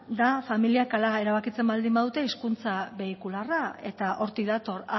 da familiak hala erabakitzen baldin badu hizkuntza beikularra eta hortik dator